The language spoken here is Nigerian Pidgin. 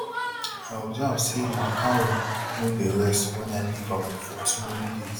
i observe say ma cow no dey rest wen i leave am for too many days